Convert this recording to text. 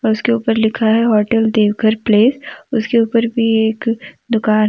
और उसके ऊपर लिखा है होटल देवघर प्लेस उसके ऊपर भी एक दुकान है।